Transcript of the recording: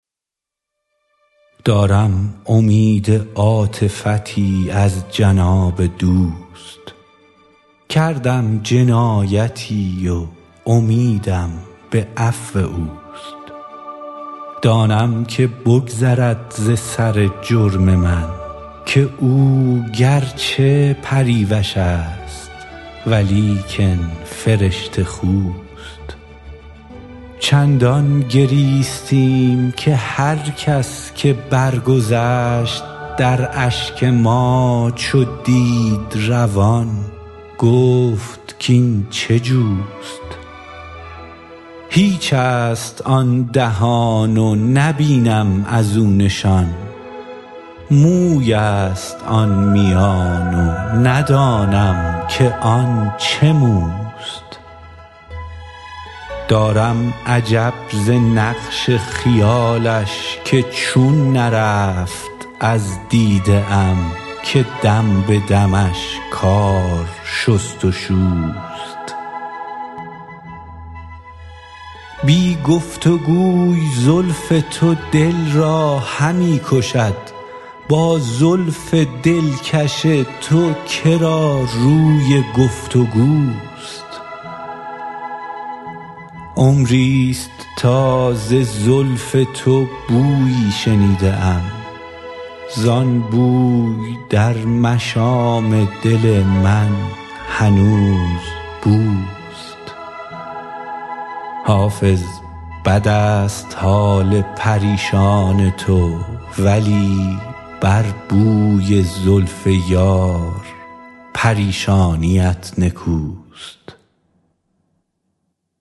دارم امید عاطفتی از جناب دوست کردم جنایتی و امیدم به عفو اوست دانم که بگذرد ز سر جرم من که او گر چه پریوش است ولیکن فرشته خوست چندان گریستیم که هر کس که برگذشت در اشک ما چو دید روان گفت کاین چه جوست هیچ است آن دهان و نبینم از او نشان موی است آن میان و ندانم که آن چه موست دارم عجب ز نقش خیالش که چون نرفت از دیده ام که دم به دمش کار شست و شوست بی گفت و گوی زلف تو دل را همی کشد با زلف دلکش تو که را روی گفت و گوست عمری ست تا ز زلف تو بویی شنیده ام زان بوی در مشام دل من هنوز بوست حافظ بد است حال پریشان تو ولی بر بوی زلف یار پریشانیت نکوست